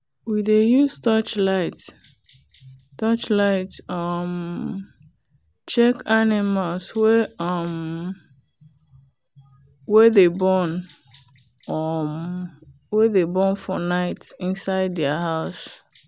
we dey use torchlight torchlight um check animals wey um dey born um for night inside their house.